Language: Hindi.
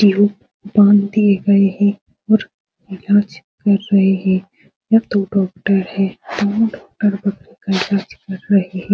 ट्यूब बांध दिए गए हैं और इलाज कर रहे हैं | यह दो डॉक्टर हैं | दोनों डॉक्टर बकरी का इलाज कर रहे हैं।